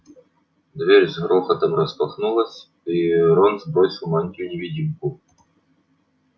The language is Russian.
дверь с грохотом распахнулась и рон сбросил мантию-невидимку